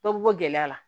Dɔ bɛ bɔ gɛlɛya la